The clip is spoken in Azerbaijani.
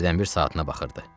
Hərdən bir saatına baxırdı.